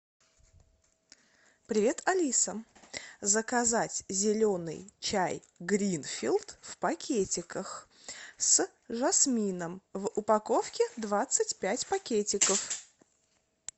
привет алиса заказать зеленый чай гринфилд в пакетиках с жасмином в упаковке двадцать пять пакетиков